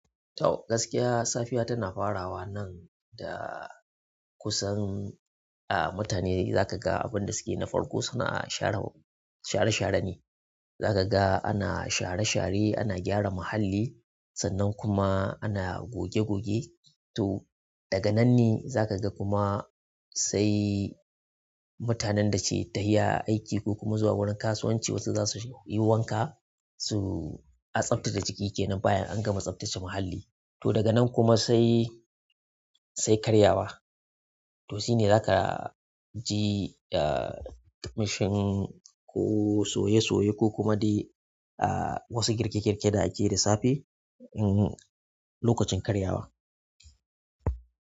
To gaskiya, safiya tana farawa nan da kusan, a mutane zakaga abinda suke na farko suna share, share-share ne. Za ka ga ana share-share, ana gyara muhalli sannan kuma ana goge-goge. To daga nanne zakaga kuma sai mutanen dake tahiya aiki ko kuma zuwa wurin kasuwanci wasu za suyi wanka su a tsaftace jiki kenan bayan an gama tsaftace muhalli. To daga nan kuma sai, sai karyawa. To shine zaka ji ah mashin ko soye-soye ko kuma dai ah wasu girke-girke da ake yi da safe, mm lokacin karyawa.